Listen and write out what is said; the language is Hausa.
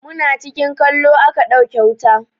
Muna cikin kallo a ka ɗauke wuta.